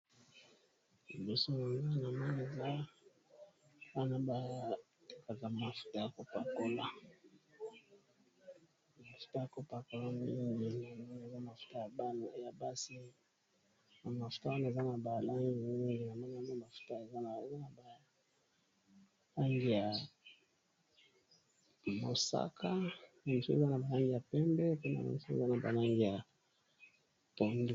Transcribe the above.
Liboso na ngai na moni eza mafuta yako pakola. Mingi eza mafuta ya basi. Mafuta wana eza na balangi mingi. Ba langi ya mosaka nazo mona ba langi ya pembe pe eza na ba langi ya tongo.